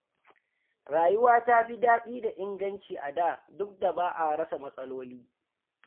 Rayuwa ta fi daɗi da inganci a da, duk da ba a rasa matsaloli.